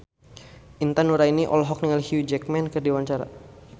Intan Nuraini olohok ningali Hugh Jackman keur diwawancara